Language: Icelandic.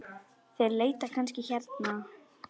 Þeir leita kannski hérna.